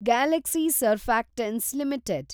Galaxy surfactants limited